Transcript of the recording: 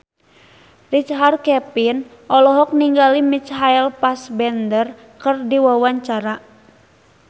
Richard Kevin olohok ningali Michael Fassbender keur diwawancara